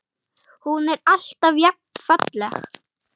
Hún er alltaf jafn falleg.